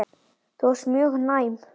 Þú varst mjög næm.